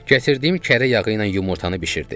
Gətirdiyim kərə yağı ilə yumurtanı bişirdi.